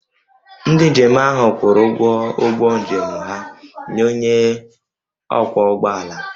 Ndị njem ahụ kwụrụ ụgwọ ụgbọ njem ha nye onye ọkwọ ụgbọala